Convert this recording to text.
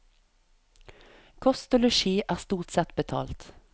Kost og losji er stort sett betalt.